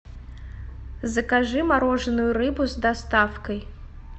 закажи мороженую рыбу с доставкой